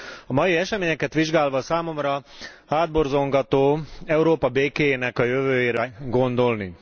A mai eseményeket vizsgálva számomra hátborzongató Európa békéjének a jövőjére gondolni.